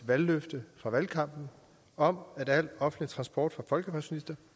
valgløfte fra valgkampen om at al offentlig transport for folkepensionister